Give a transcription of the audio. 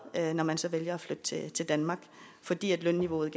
når man så vælger at flytte til danmark fordi lønniveauet i